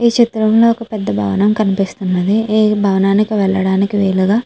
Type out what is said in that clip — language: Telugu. ఈ చిత్రం లో ఒక భవనం కనిపిస్తున్నది.ఈ భవనానికి వెళ్ళడానికి వీలుగా --